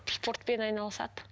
спортпен айналысады